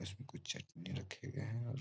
इसमें कुछ चटनी रखे गऐ हैं और --